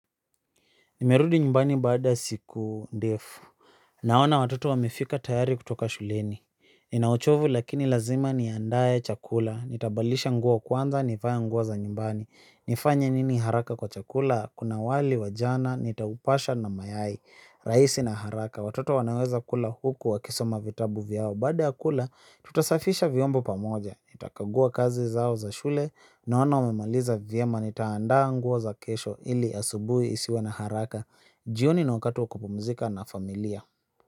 Nimerudi nyumbani baada ya siku ndefu. Naona watoto wamefika tayari kutoka shuleni. Ninauchovu lakini lazima niandae chakula, nitabalisha nguo kwanza, nivae nguo za nyumbani. Nifanye nini haraka kwa chakula? Kuna wali, wajana, nitaupasha na mayai, rahisi na haraka. Watoto wanaweza kula, huku, wakisoma vitabu vyao. Baada ya kula, tutasafisha vyombo pamoja. Nitakagua kazi zao za shule, naona wamemaliza vyema. Nitaandaa nguo za kesho, ili asubuhi isiwe na haraka. Jioni ni wakati wa kupumzika na familia.